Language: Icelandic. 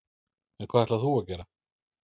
En hvað ætlar þú að gera?